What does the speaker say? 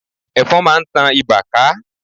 Ẹ̀fọn máa ń tan ibà ká.